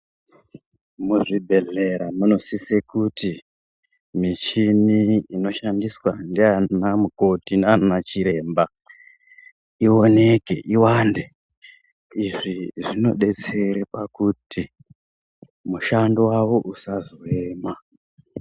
Muzvibhedhlera munosise kuti michini inoshandiswa ndiana mukoti, ndianachiremba ioneke, iwande. Izvi zvinodetsere pakuti mushando wavo usazoema.